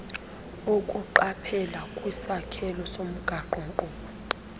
ukuqaphela kwisakhelo somgaqonkqubo